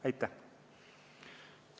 Aitäh!